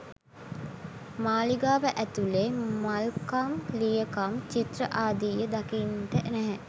මාලිගාව ඇතුලේ මල්කම් ලියකම් චිත්‍ර ආදිය දකින්ට නැහැ.